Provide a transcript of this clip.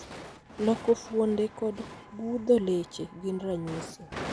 Loko fuonde kod gundho leche gin ranyisi.